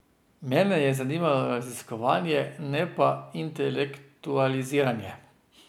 Mene je zanimalo raziskovanje, ne pa intelektualiziranje.